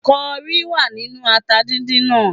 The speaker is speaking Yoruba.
Kọrí wà nínú ata dídín náà